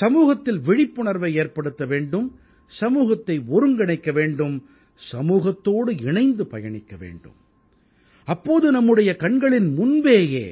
சமூகத்தில் விழிப்புணர்வை ஏற்படுத்த வேண்டும் சமூகத்தை ஒருங்கிணைக்க வேண்டும் சமூகத்தோடு இணைந்து பயணிக்க வேண்டும் அப்போது நம்முடைய கண்களின் முன்பேயே